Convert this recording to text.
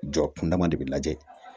Jɔ kundama de bɛ lajɛ